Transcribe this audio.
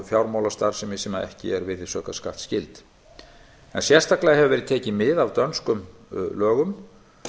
fjármálastarfsemi sem ekki er virðisaukaskattsskyld sérstaklega hefur verið tekið mið af dönskum lögum